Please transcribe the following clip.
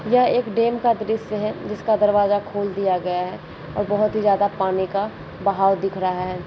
यह एक डैम का दृश्य है जिसका दरवाजा खोल दिया गया है और बहौत ही ज्यादा पानी का भाव दिख रहा है।